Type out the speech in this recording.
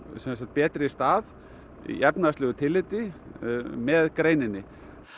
betri stað í efnahagslegu tilliti með greininni